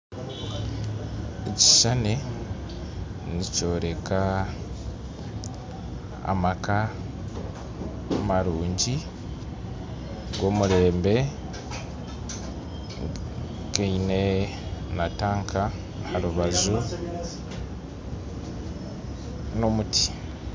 Ekishushani nikyoreka amaka marungi g'omurembe gaine na tanka aharubaju n'omuti